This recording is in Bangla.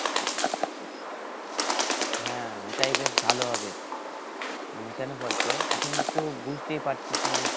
হ্যাঁ এটাই বেশ ভাল হবে মানে কেন বলতো এখন তো বুঝতেই পারছিস মানে